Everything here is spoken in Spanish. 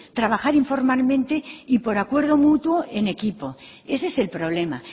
trabajar informalmente y por acuerdo mutuo en equipo ese es el problema